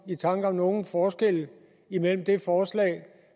i tanke om nogen forskelle imellem det forslag